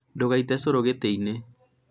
ndũgaite ũcũrũ gĩtĩinĩ